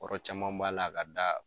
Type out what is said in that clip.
Kɔrɔ caman b'a la k'a da